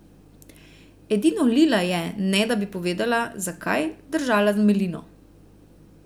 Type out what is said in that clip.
Edino Lila je, ne da bi povedala, zakaj, držala z Melino.